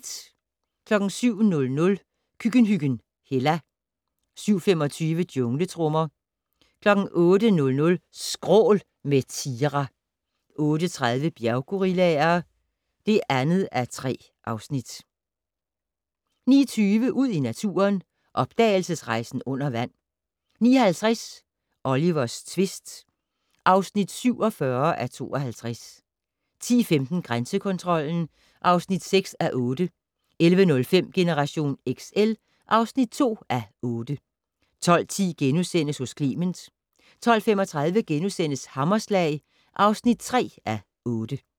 07:00: Køkkenhyggen Hella 07:25: Jungletrommer 08:00: Skrål - med Tira 08:30: Bjerggorillaer (2:3) 09:20: Ud i naturen: Opdagelsesrejsen under vand 09:50: Olivers tvist (47:52) 10:15: Grænsekontrollen (6:8) 11:05: Generation XL (2:8) 12:10: Hos Clement * 12:35: Hammerslag (3:8)*